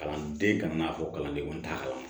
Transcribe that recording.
Kalanden kana n'a fɔ kalandenw t'a kalama